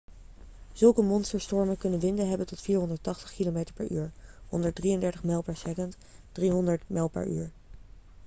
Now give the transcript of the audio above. zulke monsterstormen kunnen winden hebben tot 480 km/u 133 m/s; 300 mph